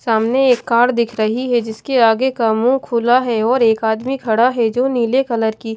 सामने एक कार दिख रही है जिसके आगे का मुंह खुला है और एक आदमी खड़ा है जो नीले कलर की--